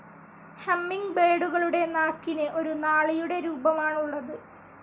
ഹമ്മിങ്ബേഡുകളുടെ നാക്കിന് ഒരു നാളിയുടെ രൂപമാണുള്ളത്.